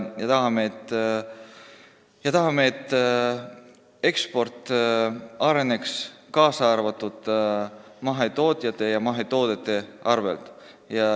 Me tahame, et eksport areneks, seda ka mahetootjate ja mahetoodete abil.